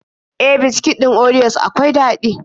E, biskit ɗin orios akwai daɗi.